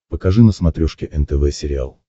покажи на смотрешке нтв сериал